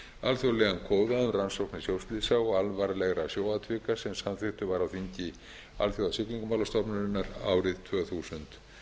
alþjóðlegan kóða um rannsóknir sjóslysa og alvarlegra sjóatvika sem samþykktur var á þingi alþjóðasiglingastofnunarinnar árið tvö þúsund